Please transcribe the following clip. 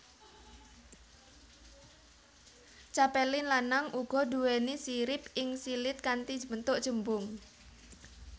Capelin lanang uga duwéni sirip ing silit kanthi bentuk cembung